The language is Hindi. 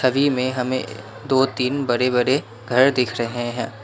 छवि में हमें दो तीन बड़े बड़े घर दिख रहे हैं।